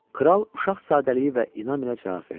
Kral uşaq sadəliyi və inamı ilə cavab verdi.